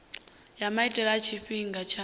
ya maitele a tshifhinga tsha